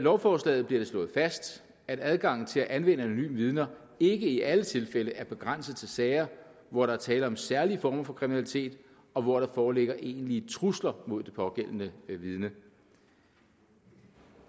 lovforslaget bliver det slået fast at adgangen til at anvende anonyme vidner ikke i alle tilfælde er begrænset til sager hvor der er tale om særlige former for kriminalitet og hvor der foreligger egentlige trusler mod det pågældende vidne